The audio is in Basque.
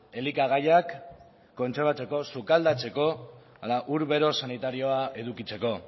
elikagaiak kontserbatzeko sukaldatzeko ala ur bero sanitarioa edukitzeko